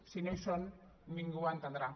si no hi són ningú ho entendrà